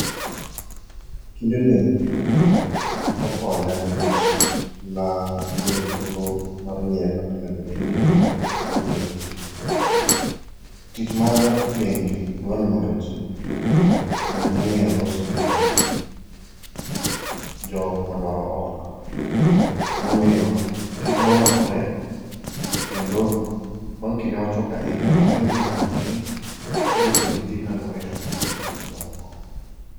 Kindeni nokonya nkech nayudo thuolo mar ng'eyo kaka onego bed ni awuoyo gi ji. Tich mar bengi dwa ni mondo ji obed mong'eyo loso gi jokmadwaro hola. Emomiyo kita nolokore kendo bang' kinde machuok ahinya naseng'e kaka onego bedni iloso gi ji kaluwore gi kaka gidwaro kony.